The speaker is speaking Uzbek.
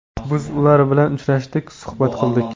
Biz ular bilan uchrashdik, suhbat qildik.